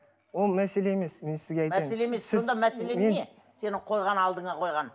ол мәселе емес мен сізге мәселең не сенің қойған алдыңа қойған